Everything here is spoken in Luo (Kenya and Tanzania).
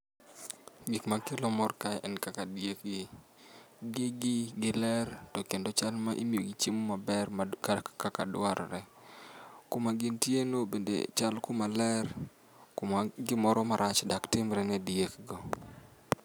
Gik makelo mor kae en kaka diek gi, gigi giler to kendo chal ni imiyogi chiemo maber ma kaka dwarre. Kuma gintie no bende chal kuma ler kuma gimoro marach dak timre ni diek go.